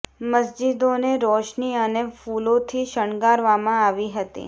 મસ્જિદો ને રોશની અને ફૂલો થી શણગારવામાં આવી હતી